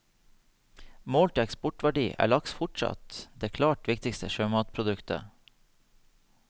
Målt i eksportverdi er laks fortsatt det klart viktigste sjømatproduktet.